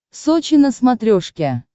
сочи на смотрешке